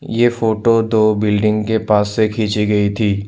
ये फोटो दो बिल्डिंग के पास से खींची गई थी।